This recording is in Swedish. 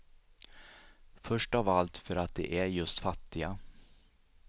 Först av allt för att de är just fattiga.